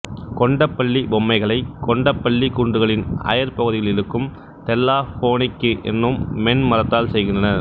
கொண்டபள்ளி பொம்மைகளைக் கொண்டபள்ளிக் குன்றுகளின் அயற் பகுதிகளில் இருக்கும் தெல்லா போனிக்கி என்னும் மென் மரத்தால் செய்கின்றனர்